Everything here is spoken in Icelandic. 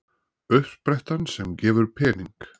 Uppsprettan sem gefur pening